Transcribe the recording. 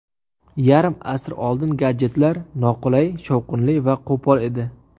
Yarim asr oldin gadjetlar noqulay, shovqinli va qo‘pol edi.